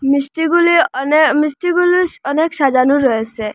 মিষ্টিগুলি অনে মিষ্টিগুলি অনেক সাজানো রয়েসে।